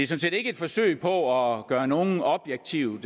set ikke et forsøg på at gøre nogen objektivt